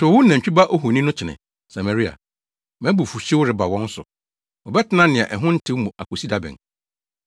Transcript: Tow wo nantwi ba ohoni no kyene, Samaria! Mʼabufuwhyew reba wɔn so. Wɔbɛtena nea ɛho ntew mu akosi da bɛn?